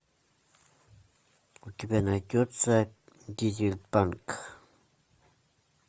у тебя найдется дизельпанк